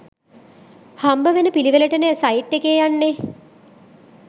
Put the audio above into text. හම්බවෙන පිළිවෙලටනේ සයිට් එකේ යන්නේ.